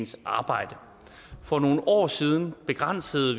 sit arbejde for nogle år siden begrænsede